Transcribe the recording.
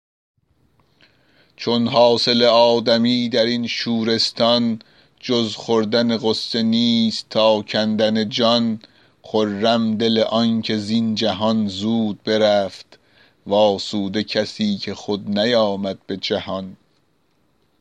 چون حاصل آدمی در این شورستان جز خوردن غصه نیست تا کندن جان خرم دل آنکه زین جهان زود برفت وآسوده کسی که خود نیامد به جهان